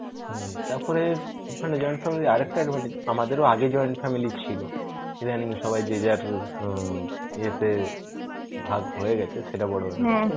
হম তারপরে, ওখানে join family র আর একটা advantage আমাদেরও আগে join family ছিল. ইদানিং সবাই যে যার উম এতে ভাগ হয়ে গেছে সেটা